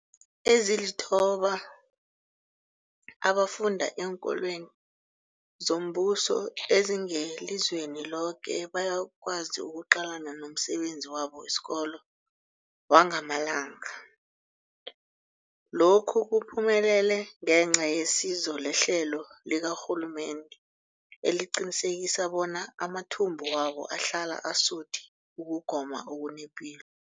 Ezilithoba abafunda eenkolweni zombuso ezingelizweni loke bayakwazi ukuqalana nomsebenzi wabo wesikolo wangamalanga. Lokhu kuphumelele ngenca yesizo lehlelo likarhulumende eliqinisekisa bona amathumbu wabo ahlala asuthi ukugoma okunepilo.